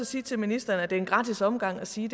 sige til ministeren at det er en gratis omgang at sige